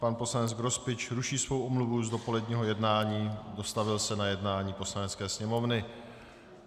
Pan poslanec Grospič ruší svou omluvu z dopoledního jednání, dostavil se na jednání Poslanecké sněmovny.